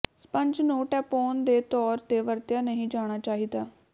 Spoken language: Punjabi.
ਸਪੰਜ ਨੂੰ ਟੈਂਪੋਨ ਦੇ ਤੌਰ ਤੇ ਵਰਤਿਆ ਨਹੀਂ ਜਾਣਾ ਚਾਹੀਦਾ